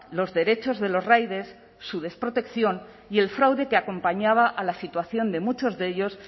los derechos de los riders su desprotección y el fraude que acompañaba a la situación de muchos de ellos